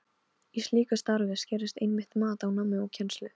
Í slíku starfi skarast einmitt mat á námi og kennslu.